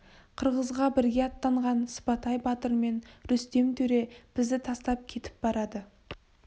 қырғызға бірге аттанған сыпатай батыр мен рүстем төре бізді тастап кетіп барады